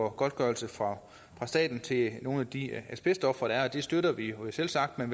af godtgørelse fra staten til nogle af de asbestofre der er det støtter vi selvsagt men